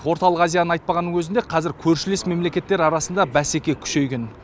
орталық азияны айтпағанның өзінде қазір көршілес мемлекеттер арасында бәсеке күшейген